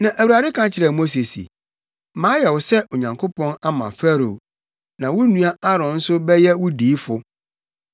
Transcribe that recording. Na Awurade ka kyerɛɛ Mose se, “Mayɛ wo sɛ Onyankopɔn ama Farao na wo nua Aaron nso bɛyɛ wo diyifo.